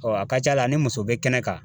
Ɔ a ka ca la a ni muso be kɛnɛ kan